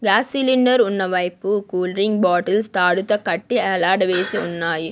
Gas cylinder ఉన్న వైపు cool drink bottles తాడుతో కట్టి ఏలాడదీసి ఉన్నాయి.